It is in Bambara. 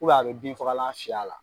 a bɛ bin fagalan fiyɛ a la.